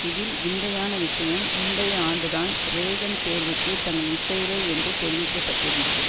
இதில் விந்தையான விஷயம் முந்தைய ஆண்டுதான் றேகன் தேர்வுக்கு தங்கள் இசைவை என்று தெரிவிக்க பட்டிருந்தது